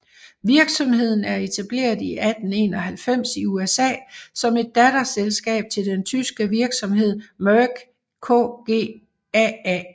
Virksomheden er etableret i 1891 i USA som et datterselskab til den tyske virksomhed Merck KGaA